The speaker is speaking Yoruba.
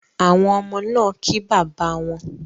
Awon omo naa ki baba won